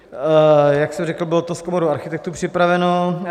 " Jak jsem řekl, bylo to s Komorou architektů připraveno.